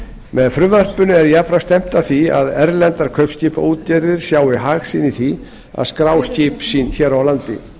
með frumvarpinu er jafnframt stefnt að því að erlendar kaupskipaútgerðir sjái hag sinn í því að skrá skip sín hér á landi